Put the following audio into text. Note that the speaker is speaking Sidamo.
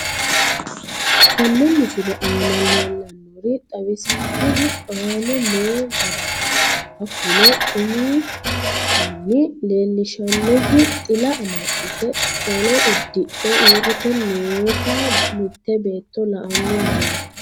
Tene misile aana leelanori xawisanohu aane noo gariniiti hakunno umihunni leelishanohu xila amaxite qollo udidhe uurite noota mitee beeto la'anni noomo